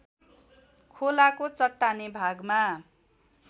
खोलाको चट्टाने भागमा